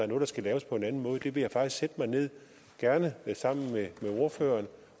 noget der skal laves på en anden måde det vil jeg faktisk sætte mig ned gerne sammen med ordføreren